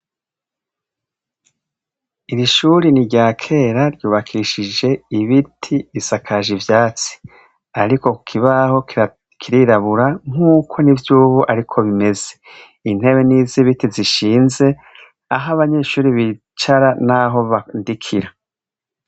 Irishuri ni rya kera ryubakishije ibiti isakaje ivyatsi, ariko kukibaho kirirabura nk'uko ni vyubo, ariko bimeze intebe n'izo ibiti zishinze aho abanyeshuri bicara, naho bandikira.